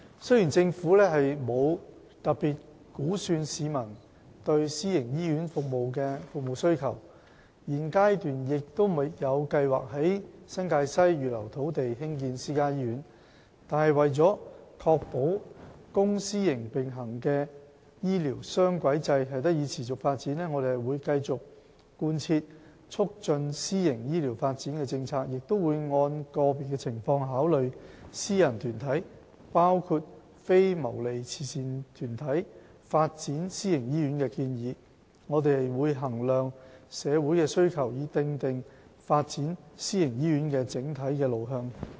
雖然政府沒有特別估算市民對私營醫院的服務需求，現階段亦沒有計劃在新界西預留土地以興建私家醫院，但為確保公私營並行的醫療雙軌制得以持續發展，我們會繼續貫徹促進私營醫療發展的政策，亦會按個別情況，考慮私人團體發展私營醫院的建議。我們會衡量社會的需求，以訂定發展私營醫院的整體路向。